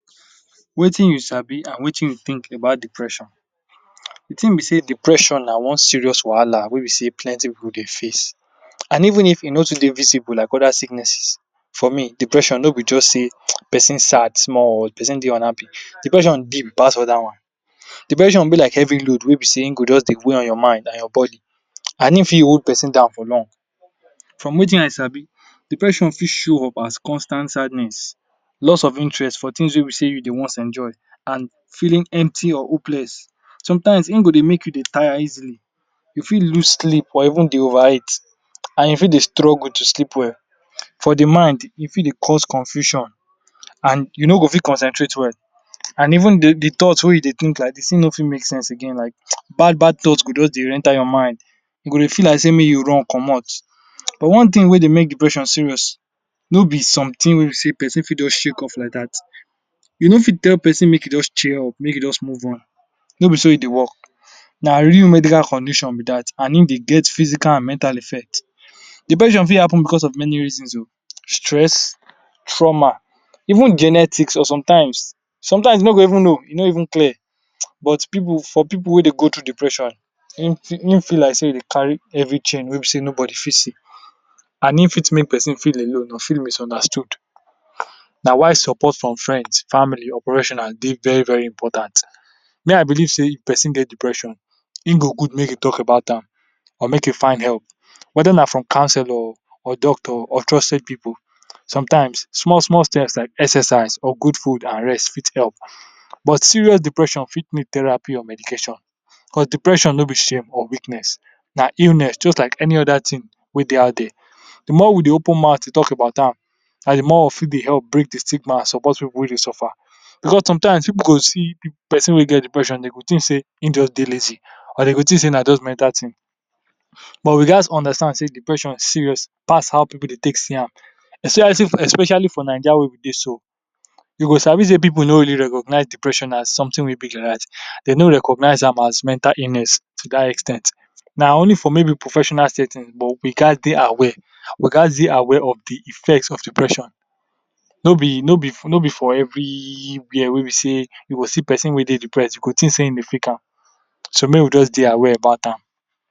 Wetin I sabi and Wetin I think about depression, de thing be sey depression na one serious wahala, wey b dey plenty pipu dey face, and even if e no serious like oda sickness, for me depression no b dey persin jus sad oh or persin dey unhappy, depression big pass dat one, depression be like heavy load wey b sey e go just dey weigh your mind down and your body and hin fit hold persin down for long, for Wetin I sabi, depression for show up as constant sadness, loss of interest for things wey b sey u dey once enjoy, and feeling empty or hopeless, sometimes hin go dey make u dey tire easily, u fit loose sleep or even dey over eat, and you for dey struggle to sleep well, for de mind e fit dey cause confusion, and u no go fit concentrate well, and even de thoughts wey u dey think like dis hin no fit fit make sense again like, bad bad thoughts go just dey enter your mind, u go dey feel like sey make u run commot, but one thing wey dey make depression serious no be something wey be sey persin fit just shake off like dat, u no fit tell person make hin jus cheer up make him his move on, no b so e dey work, na real medical condition be dat and hin dey get physical and mental effect, depression for happen because of many reasons o, stress, trauma, even genetics or sometimes, sometimes u no go even know, e no even clear, but for pipu wey dey go thru depression, hin fell like sey u dey carry heavy thing wey be dey nobody fit see, and for make person feel alone or feel misunderstood, na why support frim friends, family or professionals dey very important, me I believe sey if persin get depression, hin go good make hin talk about am or make u find help wether na from counselor oh, or doctor or trusted pipu, Sometimes small small steps like exercise or good food and rest fit help, but serous depression fit need therapy or medication because depression no b Shane or weakness na illness jus like any other thing wey dey out there, de mor we dey open mouth dey talk about am, na de more we fit dey help bring de stigma support pipu wey dey suffer, because sometimes pipu go see person wey get depression dem go think sey hin jus dey lazy or dem go think sey na just mental thing, but we gatz understand sey depression serous pass how pipu dey take see am, u see especially for naija wey we dey so, u go sabi dey pipu no really recognize depression na something wey big be dat, dem no recognize am as mental illness, to dat ex ten t na only for maybe professional setting but we gatz dey aware, we gatz dey aware of de effects of depression, no b for everywhere wey b sey u go see person wey dey depressed you go think dey hin dey fake am, so make we jus dey aware about am.